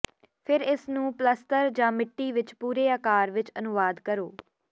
ਫਿਰ ਇਸ ਨੂੰ ਪਲੱਸਤਰ ਜਾਂ ਮਿੱਟੀ ਵਿਚ ਪੂਰੇ ਆਕਾਰ ਵਿਚ ਅਨੁਵਾਦ ਕਰੋ